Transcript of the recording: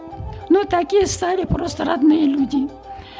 но такие стали просто родные люди